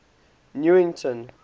newington